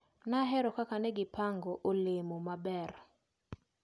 Nahero kaka negipango olemo maber.